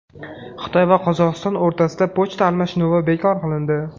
Xitoy va Qozog‘iston o‘rtasida pochta almashinuvi bekor qilindi.